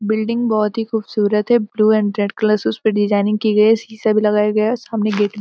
building बहोत ही खूबसूरत है ब्लू एंड रेड कलर से उसपे डिजाइनिंग की गई है शीशा भी लगाया गया है सामने गेट --